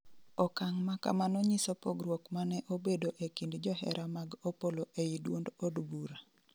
okang' makamano nyiso pogruok mane obedo ekind johera mag Opollo ei duond od bura